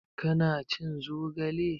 Ka na cin zogale?